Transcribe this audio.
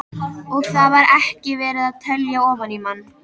Og þar var ekki verið að telja ofan í mann.